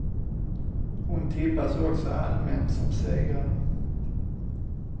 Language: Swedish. Hon tippas också allmänt som segrare.